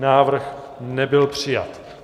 Návrh nebyl přijat.